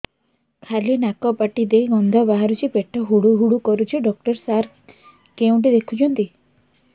ଖାଲି ନାକ ପାଟି ଦେଇ ଗଂଧ ବାହାରୁଛି ପେଟ ହୁଡ଼ୁ ହୁଡ଼ୁ କରୁଛି ଡକ୍ଟର ସାର କେଉଁଠି ଦେଖୁଛନ୍ତ